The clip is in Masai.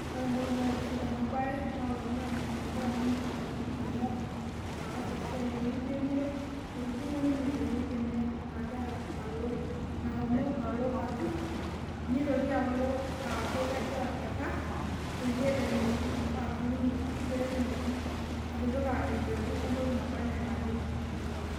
Ore embae naitiship tenabae naa olanyuani ogira anyok tesiai enye enkiremore , etudungo ninye ewuei enye nagira alo atur ,nitoki alo kegira aikar peyie etumoki atuuno ashu petumoki atipika empeku entoki naba anaa enayieu nepik.